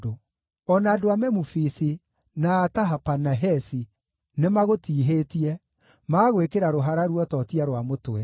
O na andũ a Memufisi, na a Tahapanahesi nĩmagũtiihĩtie, magagwĩkĩra rũhara ruototia rwa mũtwe.